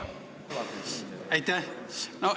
Aitäh!